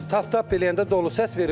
Taptap eləyəndə dolu səs verir.